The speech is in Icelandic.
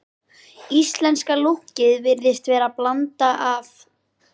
Íslenska lúkkið virðist vera blanda af